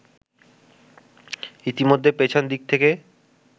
ইতিমধ্যে পেছন দিক্ থেকে